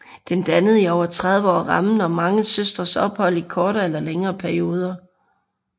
Den dannede i over 30 år rammen om mange søstres ophold i kortere eller længere perioder